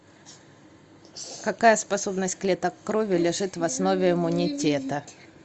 какая способность клеток крови лежит в основе иммунитета